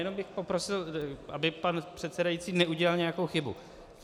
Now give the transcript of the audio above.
Jen bych poprosil, aby pan předsedající neudělal nějakou chybu.